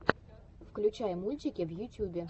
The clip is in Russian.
включай мультики в ютюбе